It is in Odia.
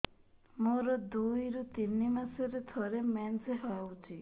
ମୋର ଦୁଇରୁ ତିନି ମାସରେ ଥରେ ମେନ୍ସ ହଉଚି